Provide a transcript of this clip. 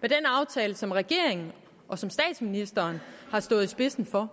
med den aftale som regeringen og statsministeren har stået spidsen for